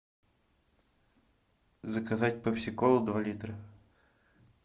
заказать пепси колу два литра